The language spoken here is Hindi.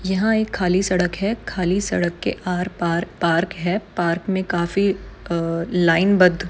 यहाँ एक खाली सड़क है खाली सड़क के आर पार पार्क है पार्क मे काफी लायनबद्ध --